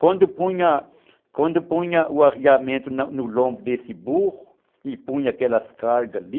Quando punha quando punha o arreamento no lombo desse burro e